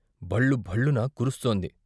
భళ్ళుభళ్లున కురుస్తోంది.